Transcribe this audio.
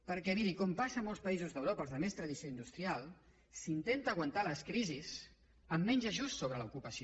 perquè miri com passa a molts països d’europa als de més tradició industrial s’intenta aguantar les crisis amb menys ajust sobre l’ocupació